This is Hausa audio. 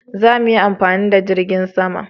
za mu yi amfani da jirgin sama